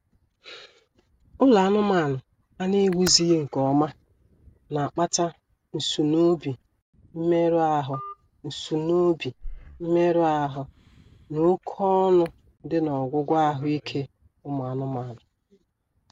Ụlọ anụmaanụ a na-ewuzighị nkeọma na-akpata nsunoobi, mmerụ ahụ, nsunoobi, mmerụ ahụ, na oké ọnụ dị n'ọgwụgwọ ahụ ike ụmụ anụmaanụ